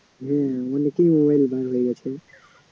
হম